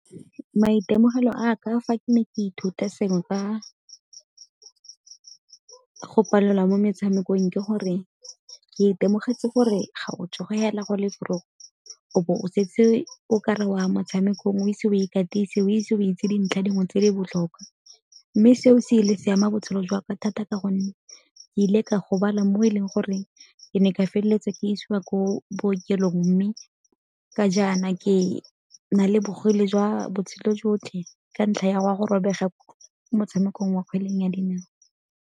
Maitemogelo a ka fa ke ne ke ithuta sengwe ka go palelwa mo metshamekong ke gore ke itemogetse gore ga o go le o bo o setse o ka re o a motshamekong o ise o e katise, o ise o itse dintlha dingwe tse di botlhokwa. Mme seo se ile se ama botshelo jwa ka thata ka gonne ke ile ka gobala mo e leng gore ke ne ka feleletsa ke isiwa ko bookelong mme ka jaana ke na le bogole jwa botshelo jotlhe ka ntlha ya a go robega motshamekong wa kgweleng ya dinao.